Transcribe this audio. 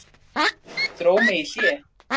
Dró mig í hlé.